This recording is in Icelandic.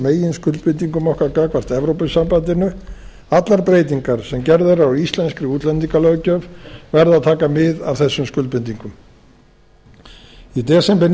meginskuldbindingum okkar gagnvart evrópusambandinu allar breytingar sem gerðar eru á íslenskri útlendingalöggjöf verða að taka mið af þessum skuldbindingum í desember